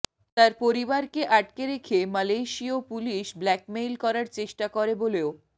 তার পরিবারকে আটকে রেখে মালয়েশিয় পুলিশ ব্ল্যাকমেইল করার চেষ্টা করে বলেও